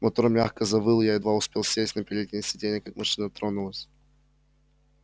мотор мягко завыл я едва успел сесть на переднее сиденье как машина тронулась